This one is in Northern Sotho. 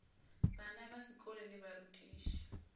bana ba sekolo le barutiši